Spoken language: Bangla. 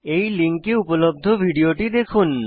এই লিঙ্কে উপলব্ধ ভিডিওটি দেখুন